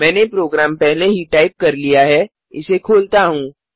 मैने प्रोग्राम पहले ही टाइप कर दिया है इसे खोलता हूँ